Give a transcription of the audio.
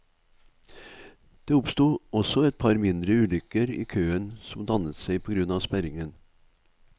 Det oppsto også et par mindre ulykker i køen som dannet seg på grunn av sperringen.